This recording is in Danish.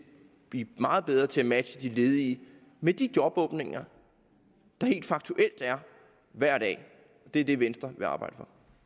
blive meget bedre til at matche de ledige med de jobåbninger der helt faktuelt er hver dag det er det venstre vil arbejde